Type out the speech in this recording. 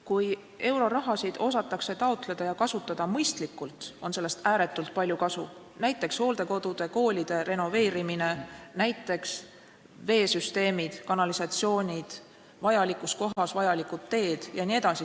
Kui euroraha osatakse taotleda ja kasutada mõistlikult, on sellest ääretult palju kasu, näiteks hooldekodude ja koolide renoveerimine, veesüsteemid ja kanalisatsioonid, vajalikud teed vajalikus kohas jne.